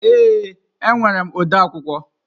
Ee, enwere m ode akwụkwọ.